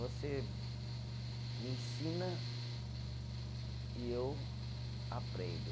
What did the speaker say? Você me ensina e eu aprendo.